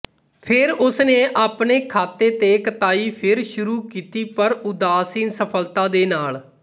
ਫਿਰ ਉਸਨੇ ਆਪਣੇ ਖਾਤੇ ਤੇ ਕਤਾਈ ਫਿਰ ਸ਼ੁਰੂ ਕੀਤੀ ਪਰ ਉਦਾਸੀਨ ਸਫਲਤਾ ਦੇ ਨਾਲ